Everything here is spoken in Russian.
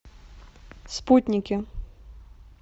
спутники